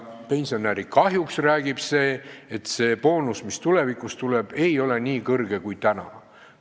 Pensionäri kahjuks aga räägib see, et boonus, mis tulevikus tuleb, ei ole nii suur kui praegu.